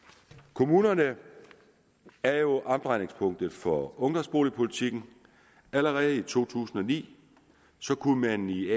kommunerne er jo omdrejningspunktet for ungdomsboligpolitikken allerede i to tusind og ni kunne man i